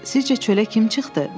Sizcə çölə kim çıxdı?